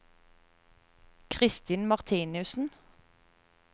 Christin Martinussen